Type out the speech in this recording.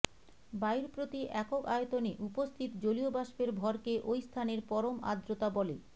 বায়ুর প্রতি একক আয়তনে উপস্থিত জলীয়বাষ্পের ভরকে ঐ স্থানের পরম আর্দ্রতা বলে